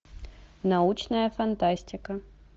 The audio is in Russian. научная фантастика